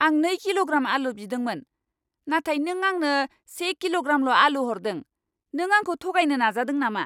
आं नै किल'ग्राम आलु बिदोंमोन, नाथाय नों आंनो से किल'ग्रामल' आलु हरदों। नों आंखौ थगायनो नाजादों नामा?